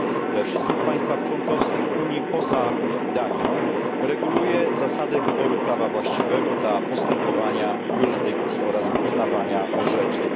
we wszystkich państwach członkowskich Unii poza Danią, reguluje zasady wyboru prawa właściwego dla postępowania jurysdykcji oraz uznawania orzeczeń.